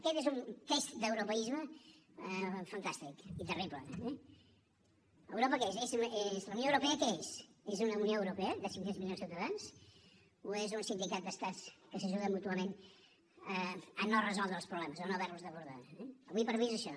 aquest és un test d’europeisme fantàstic i terrible eh europa què és la unió europea què és és una unió europea de cinc cents milions de ciutadans o és un sindicat d’estats que s’ajuda mútuament a no resoldre els problemes o no haver los d’abordar eh ara per ara és això